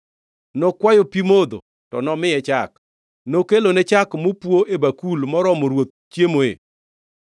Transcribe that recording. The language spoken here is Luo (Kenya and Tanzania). Nokwayo pi modho, to nomiye chak; nokelone chak mopwo e bakul moromo ruoth chiemoe.